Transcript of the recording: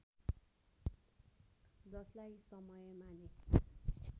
जसलाई समयमा नै